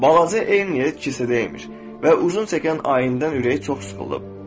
Balaca eyni yer kilsədə imiş və uzun çəkən ayindən ürəyi çox sıxılıb.